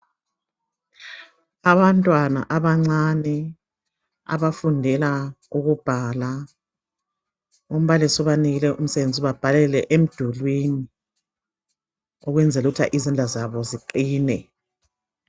Abantwana abancane abafundela ukubhala. Umbalisi ubanikile umsebenzi ukuthi babhalele emdulwini ukwenzela ukuthi izandla zabo ziqine.